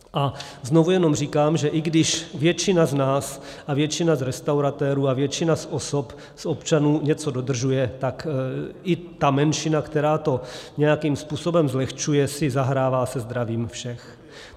A znovu jenom říkám, že i když většina z nás a většina z restauratérů a většina z osob, z občanů, něco dodržuje, tak i ta menšina, která to nějakým způsobem zlehčuje, si zahrává se zdravím všech.